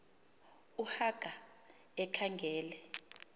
u haka ekhangele